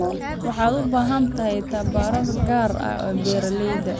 Waxay u baahan tahay tababar gaar ah beeralayda.